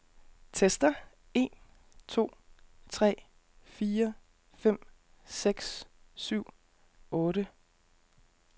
Tester en to tre fire fem seks syv otte.